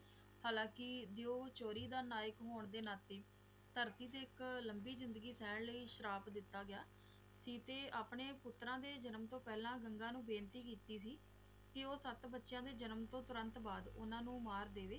ਹਲਕੀ ਦਿਓ ਚੋਰੀ ਦਾ ਨਾਇਕ ਹੋਣ ਦੇ ਨਾਤੇ ਧਰਤੀ ਤੇ ਇਕ ਲੰਬੀ ਜ਼ਿੰਦਗੀ ਸਹਿਣ ਲਈ ਸ਼ਰਾਪ ਦਿੱਤਾ ਗਿਆ ਤੇ ਆਪਣੇ ਪੁੱਤਰਾ ਦੇ ਜਨਮ ਤੋਂ ਪਹਿਲਾਂ ਗੰਗਾ ਨੂੰ ਬੇਨਤੀ ਕੀਤੀ ਸੀ ਕਿ ਉਹ ਸਤ ਬਚਿਆ ਦੇ ਜਨਮ ਤੋਂ ਤੁਰੰਤ ਬਾਅਦ ਓਹਨਾ ਨੂ ਮਾਰ ਦਵੇ